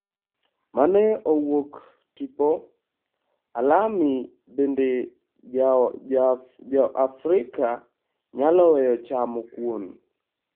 Mane owuok tipo, Alamy Bende Joafrika nyalo weyo chamo Kuon?